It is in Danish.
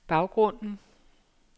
baggrunden